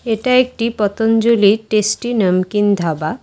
এটা একটি পতঞ্জলি টেস্টি নমকিন ধাবা।